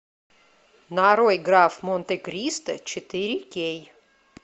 нарой граф монте кристо четыре кей